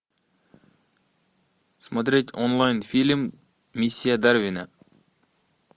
смотреть онлайн фильм миссия дарвина